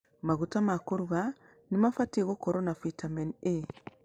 Maguta ma kũruga nĩmabatiĩ gũkorwo na vĩtamini A.